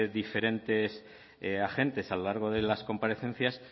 diferentes agentes a lo largo de las comparecencias